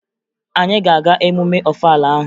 Anyị a ga-aga emume Ọfala ahụ?